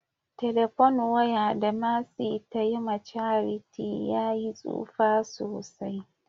" telephone wire" da mercy ta Yi ma charity ya yi tsufa sosai.